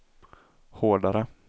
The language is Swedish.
hårdare